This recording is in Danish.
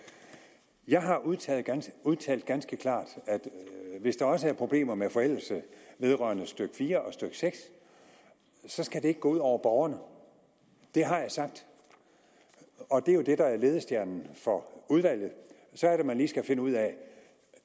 jeg har udtalt ganske udtalt ganske klart at hvis der også er problemer med forældelse vedrørende stykke fire og stykke seks så skal det ikke gå ud over borgerne det har jeg sagt og det er jo det der er ledestjernen for udvalget så er det man lige skal finde ud af